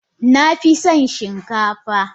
Nafison shin kafa.